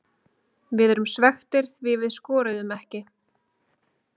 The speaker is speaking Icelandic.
Við erum svekktir því við skoruðum ekki.